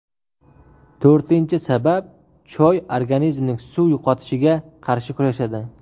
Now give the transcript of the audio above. To‘rtinchi sabab Choy organizmning suv yo‘qotishiga qarshi kurashadi.